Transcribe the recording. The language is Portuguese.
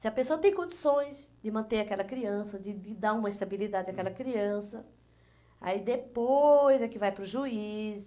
Se a pessoa tem condições de manter aquela criança, de de dar uma estabilidade àquela criança, aí depois é que vai para o juiz.